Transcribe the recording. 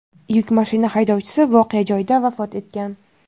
Yuk mashina haydovchisi voqea joyida vafot etgan.